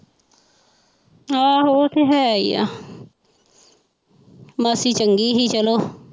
ਆਹੋ ਉਹ ਤੇ ਹੈ ਹੀ ਆ ਮਾਸੀ ਚੰਗੀ ਸੀ ਚਲੋ।